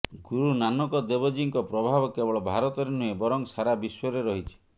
ଗୁରୁ ନାନକ ଦେବଜୀଙ୍କ ପ୍ରଭାବ କେବଳ ଭାରତରେ ନୁହେଁ ବରଂ ସାରା ବିଶ୍ୱରେ ରହିଛି